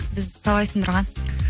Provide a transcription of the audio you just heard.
бізді талай сындырған